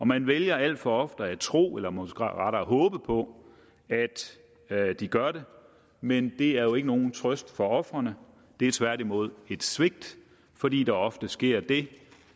man vælger alt for ofte at tro eller måske rettere håbe på at de gør det men det er jo ikke nogen trøst for ofrene det er tværtimod et svigt fordi der ofte sker det